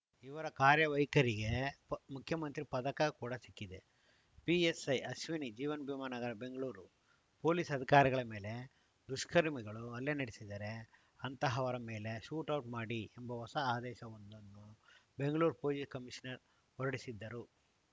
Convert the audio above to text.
ಇವರ ಕಾರ್ಯವೈಖರಿಗೆ ಮುಖ್ಯಮಂತ್ರಿ ಪದಕ ಕೂಡ ಸಿಕ್ಕಿದೆ ಪಿಎಸ್‌ಐ ಅಶ್ವಿನಿ ಜೀವನ್‌ ಭೀಮಾ ನಗರ ಬೆಂಗಳೂರು ಪೊಲೀಸ್‌ ಅಧಿಕಾರಿಗಳ ಮೇಲೆ ದುಷ್ಕರ್ಮಿಗಳು ಹಲ್ಲೆ ನಡೆಸಿದರೆ ಅಂತಹವರ ಮೇಲೆ ಶೂಟೌಟ್‌ ಮಾಡಿ ಎಂಬ ಹೊಸ ಆದೇಶವೊಂದನ್ನು ಬೆಂಗಳೂರು ಪೊಲೀಸ್‌ ಕಮೀಷನರ್‌ ಹೊರಡಿಸಿದ್ದರು